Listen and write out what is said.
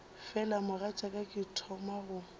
fela mogatšaka ke thoma go